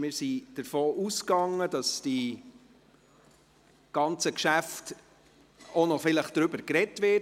Wir sind davon ausgegangen, dass über diese Geschäfte vielleicht noch gesprochen wird.